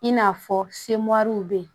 In n'a fɔ semɔriw bɛ yen